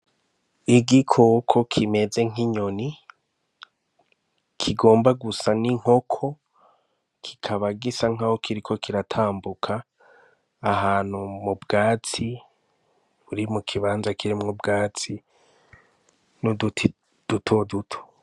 Igikoko kimeze nk'inyoni kigomba gusa n'inkoko kikaba gisa nkaho kiriko kiratambuka ahantu m'ubwatsi, buri mukibanza kirimw'ubwatsi n'uduti duto duto.